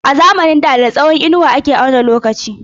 A zamanin da da tsawon inuwa ake auna lokaci.